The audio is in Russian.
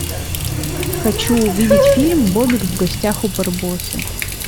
хочу увидеть фильм бобик в гостях у барбоса